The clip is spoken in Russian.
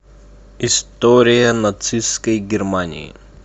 история нацистской германии